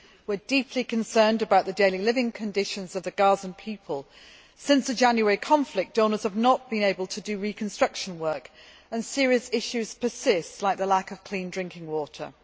We are deeply concerned about the daily living conditions of the Gazan people since the January conflict, donors have not been able to do reconstruction work and serious issues persist like the lack of clean drinking water.